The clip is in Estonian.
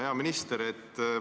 Hea minister!